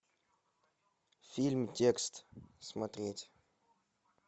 фильм текст смотреть